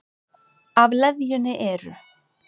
Af leðjunni eru